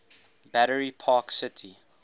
battery park city